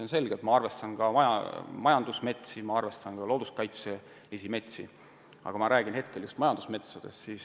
On selge, et ma arvestan majandusmetsadega ja ma arvestan ka looduskaitseliste metsadega, aga hetkel räägin ma just majandusmetsadest.